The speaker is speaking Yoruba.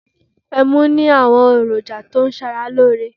Ẹmu ní àwọn èròjà tó ń ṣara lóore.